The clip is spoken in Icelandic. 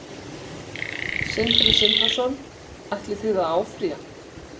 Sindri Sindrason: Ætlið þið að áfrýja?